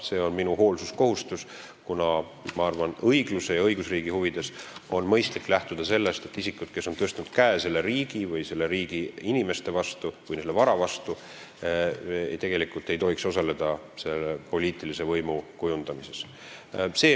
See on minu hoolsuskohustus, kuna ma arvan, õigluse ja õigusriigi huvides on mõistlik lähtuda sellest, et isikud, kes on tõstnud käe selle või teise riigi inimeste vastu või ka nende vara vastu, ei tohiks tegelikult osaleda poliitilise võimu kujundamises.